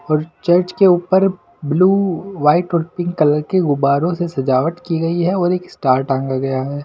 और चर्च के ऊपर ब्लू वाइट और पिंक कलर के गुबारों से सजावट की गई है और एक स्टार टांगा गया है।